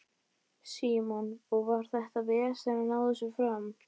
Símon: Og var þetta vesen að ná þessu fram?